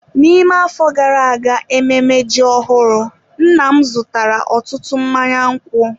N'ime afọ gara aga ememme ji ọhụrụ nna m zụtara ọtụtụ mmanya nkwụ.